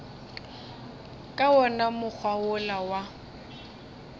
ka wona mokgwa wola wa